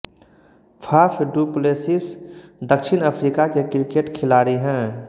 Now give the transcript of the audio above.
Faf du Plessis दक्षिण Africa के cricket खिलाड़ी हैं